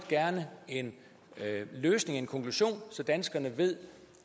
en løsning en konklusion så danskerne ved